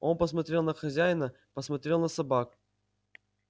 он посмотрел на хозяина посмотрел на собак